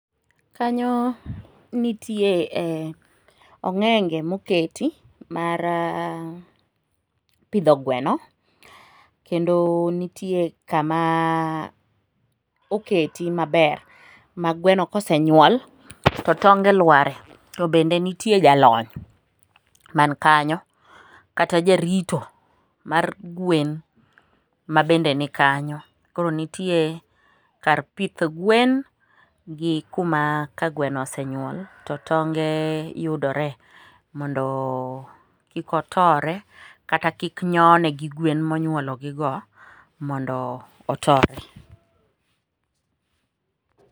Kanyo nitie ong'enge moketi mar pidho gweno, kendo nitie kama oketi maber ma gweno kosenyuol to tonge lware, to be nitie jalony man kanyo kata jarito mar gwen mabende nikenyo, koro nitie kar pith gwen gi kuma ka gweno osenyuol to tonge yudore mondo kik otore kata kik nyone gi gwen monyuologigo mondo otore.